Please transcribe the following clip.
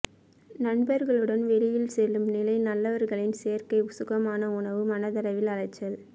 நண்பர்களுடன் வெளியில் செல்லும் நிலை நல்லவர்களின் சேர்க்கை சுகமான உணவு மனதளவில் அலைச்சல்